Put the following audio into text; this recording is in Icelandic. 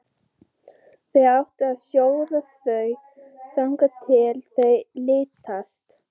Þú átt að sjóða þau þangað til þau linast.